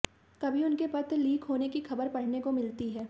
कभी उनके पत्र लीक होने की खबर पढऩे को मिलती है